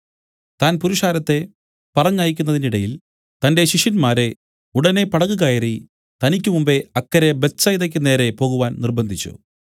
താൻ പുരുഷാരത്തെ പറഞ്ഞയക്കുന്നതിനിടയിൽ തന്റെ ശിഷ്യന്മാരെ ഉടനെ പടക് കയറി തനിക്കുമുമ്പേ അക്കരെ ബേത്ത്സയിദെക്കു നേരെ പോകുവാൻ നിര്‍ബ്ബന്ധിച്ചു